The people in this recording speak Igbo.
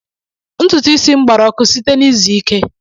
Ntutu isi m gbara ọkụ site na izu ike